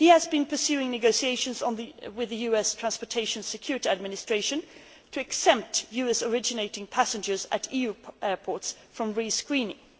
He has been pursuing negotiations with the US transportation security administration to exempt US originating passengers at EU airports from rescreening.